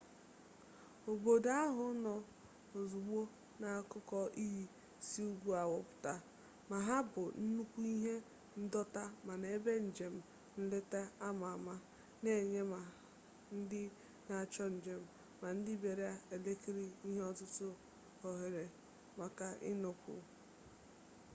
obodo ahụ nọ ozugbo n'akụkụ iyi si ugwu awụpụta ma ha bụ nnukwu ihe ndọta mana ebe njem nleta a ama ama na-enye ma ndị na-achọ njem ma ndị bịara elekiri ihe ọtụtụ ohere maka ịnọkwu